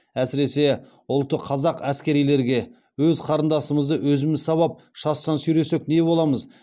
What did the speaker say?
әсіресе ұлты қазақ әскерилерге өз қыздарымызды өзіміз сабап шаштан сүйресек не боламыз